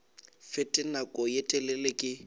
fete nako ye telele ke